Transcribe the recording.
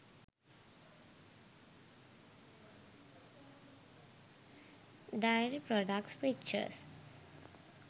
dairy products pictures